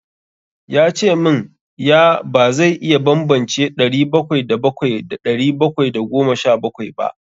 Ya ce min ya ba zai iya bambance ɗari bakwai da bakwai da ɗari bakwai da goma sha bakwai ba.